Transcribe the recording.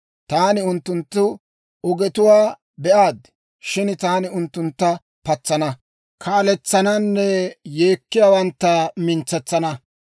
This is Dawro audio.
Taani unttunttu ogetuwaa be'aad; shin taani unttuntta patsana, kaaletsananne yeekkiyaawantta mintsetsana.